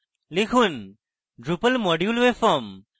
লিখুন drupal module webform